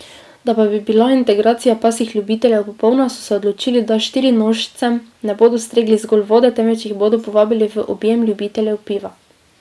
Da pa bi bila integracija pasjih ljubiteljev popolna, so se odločili, da štirinožcem ne bodo stregli zgolj vode, temveč jih bodo povabili v objem ljubiteljev piva.